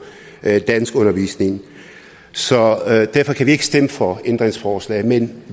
danskundervisning så derfor kan vi ikke stemme for ændringsforslagene men